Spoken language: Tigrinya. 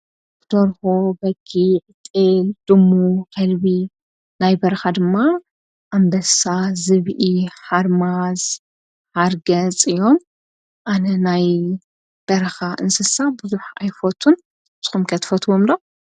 ብደርሆ በጊዕጤል ድሙ ኸልቢ ናይ በርኻ ድማ ኣምበሳ ዝብኢ ሓርማዝ ሃርገጽእዮም ኣነ ናይ በርኻ እንስሳ ብዙኅ ኣይፈቱን ዘኹምቀትፈትዎምሎ።